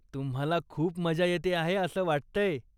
तुम्हाला खूप मज्जा येते आहे असं वाटतंय.